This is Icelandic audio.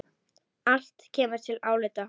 Allt kemur til álita.